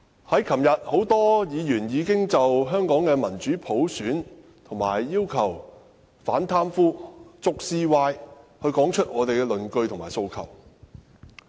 昨天多位議員已經就民主普選、要求反貪污、捉 CY 等提出論據和訴求。